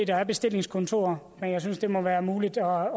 der er bestillingskontorer men jeg synes også det må være muligt at